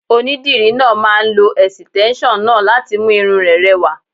Onídìrí náà máà ń lo ẹ̀sìtẹ́nson náà láti mú irun rẹ rẹwà.